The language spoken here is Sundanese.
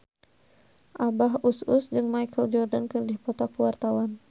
Abah Us Us jeung Michael Jordan keur dipoto ku wartawan